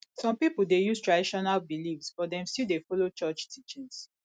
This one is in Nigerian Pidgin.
some pipo dey use traditional beliefs but dem still dey follow church teachings